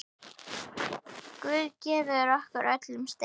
Guð gefi okkur öllum styrk.